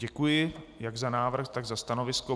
Děkuji jak za návrh, tak za stanovisko.